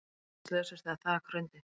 Margir slösuðust þegar þak hrundi